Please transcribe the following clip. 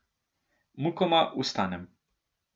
Mukoma vstanem.